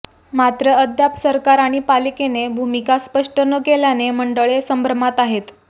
मात्र अद्याप सरकार आणि पालिकेने भूमिका स्पष्ट न केल्याने मंडळे संभ्रमात आहेत